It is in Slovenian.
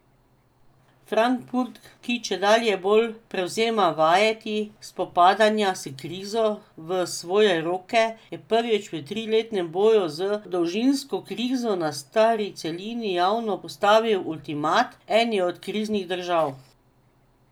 Frankfurt, ki čedalje bolj prevzema vajeti spopadanja s krizo v svoje roke, je prvič v triletnem boju z dolžniško krizo na stari celini javno postavil ultimat eni od kriznih držav.